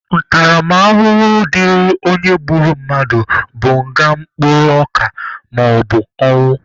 Ntaramahụhụ dịrị onye gburu mmadụ bụ nga mkpụrụ ọka maọbụ ọnwụ.